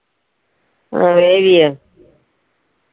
അഹ് വേവിയോ